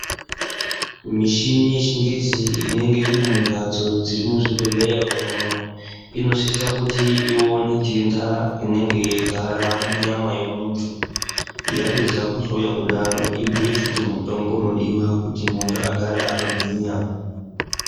Mishini yechingezi inenge iri mumbatso dziri muzvibhedhleya umu. Inosisa kuti ione nhenda inenge yeigara munyama yemuntu. Yapedza kuhloya kudaro ibhuye futi mutombo unodiwa muntu agare akagwinya.